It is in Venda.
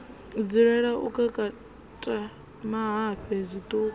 dzulela u kakata mahafhe zwitumbu